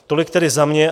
Tolik tedy za mě.